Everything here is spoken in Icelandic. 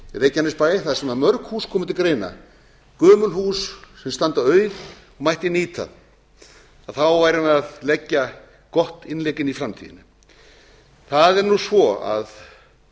reykjanesbæ þar sem mörg hús koma til greina gömul hús sem standa auð mætti nýta að þá værum við að leggja gott innlegg inn í framtíðina það er svo að